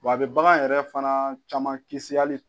Wa a bɛ bagan yɛrɛ fana caman kisi hali.